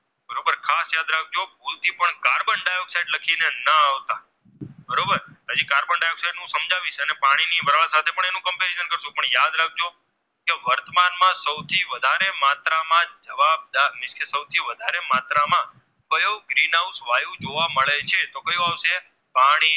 માં સૌથી વધારે માત્રામાં જવાબદર તે સૌથી વધારે માત્રામાં કયો Green House વાયુ જોવા મળે છે તો કયો આવશે પાણીમાં